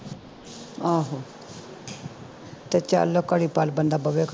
ਆਹੋ ਤੇ ਚਲ ਘੜੀ ਪਲ ਬੰਦਾ ਬਵੇ